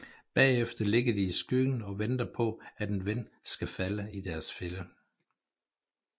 Bagefter ligger de i skyggen og venter på at en ven skal falde i deres fælde